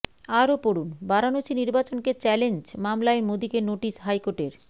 আরও পড়ুন বারাণসী নির্বাচনকে চ্যালেঞ্জ মামলায় মোদীকে নোটিশ হাইকোর্টের